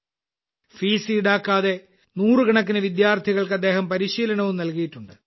fees ഈടാക്കാതെ നൂറുകണക്കിന് വിദ്യാർഥികൾക്ക് അദ്ദേഹം പരിശീലനവും നൽകിയിട്ടുണ്ട്